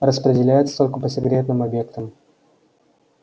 распределяется только по секретным объектам